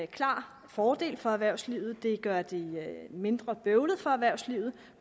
klar fordel for erhvervslivet det gør det mindre bøvlet for erhvervslivet